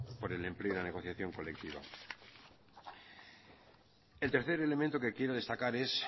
por el empleo y la negociación colectiva el tercer elemento que quiero destacar es